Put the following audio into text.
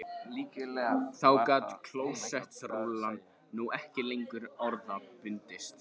Þá gat klósettrúllan nú ekki lengur orða bundist